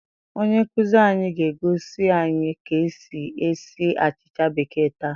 Onye nkuzi anyị ga-egosi anyị ka esi esi achịcha békéè taa